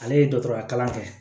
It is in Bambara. Ale ye dɔgɔtɔrɔya kalan kɛ